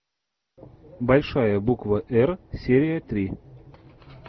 большая буква р серия три